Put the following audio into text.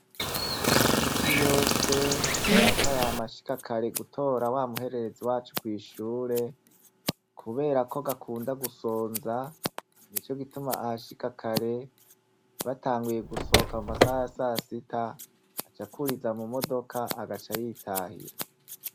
Minsi yose, Data yama ashika kare gutora wamuhererezi wacu kw'ishure, kubera ko gakunda gusonza, nico gituma ahashika kare, batanguye gusohoka mu masaha ya sasita, acakuriza mu modoka agaca yitahira.